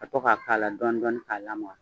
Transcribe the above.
ka to k'a k'a la dɔɔnin dɔɔnin k'a lamaga.